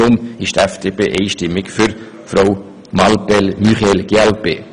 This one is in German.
Deshalb stimmt die FDP-Fraktion einstimmig für Frau Muriel Mallepell von der glp.